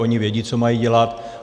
Oni vědí, co mají dělat.